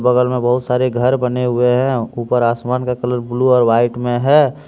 बगल में बहुत सारे घर बने हुए हैं ऊपर आसमान का कलर ब्लू और वाइट में है।